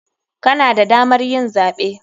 Kana da damar yin zaɓe.